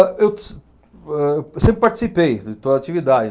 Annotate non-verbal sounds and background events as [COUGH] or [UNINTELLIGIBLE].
Eu [UNINTELLIGIBLE] eu sempre participei de toda a atividade.